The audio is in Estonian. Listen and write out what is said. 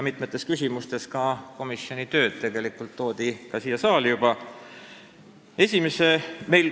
Mitmes küsimuses on ka komisjoni töö juba siia saali toodud.